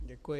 Děkuji.